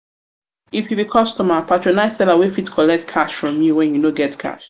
if you be customer patronize seller wey fit collect cash from you when you no get cash